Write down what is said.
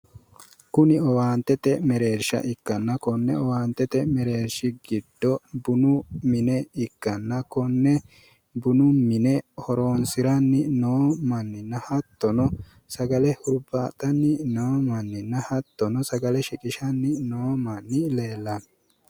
Kunni owaantete mereersha ikkanna konne owaantete mereershi gido bunu mine ikkanna konne bunu mine horoonsi'nanni noohu manninna hattono sagale hurbaaxanni noo manninna hattono sagale shiqishanni noo manni leellano.